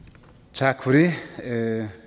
tak for det så er det